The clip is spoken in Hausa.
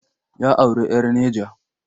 Ya auri 'yar Neja.